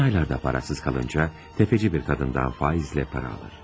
Son aylarda parasız qalınca təfəci bir qadından faizlə para alır.